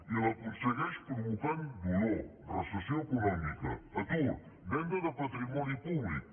i l’aconsegueix provocant dolor recessió econòmica atur venda de patrimoni públic